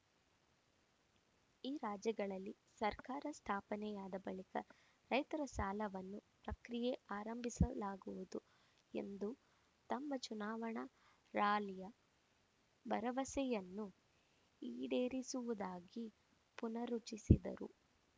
ಈ ರಾಜ್ಯಗಳಲ್ಲಿ ಸರ್ಕಾರ ಸ್ಥಾಪನೆಯಾದ ಬಳಿಕ ರೈತರ ಸಾಲವನ್ನು ಪ್ರಕ್ರಿಯೆ ಆರಂಭಿಸಲಾಗುವುದು ಎಂದು ತಮ್ಮ ಚುನಾವಣಾ ರಾಲಿಯ ಭರವಸೆಯನ್ನು ಈಡೇರಿಸುವುದಾಗಿ ಪುನರುಚ್ಚಿಸಿದರು